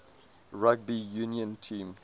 rugby union team